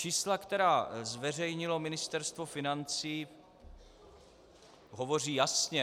Čísla, která zveřejnilo Ministerstvo financí, hovoří jasně.